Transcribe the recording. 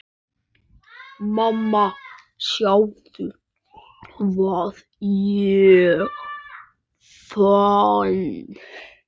Mamma sjáðu hvað ég fann!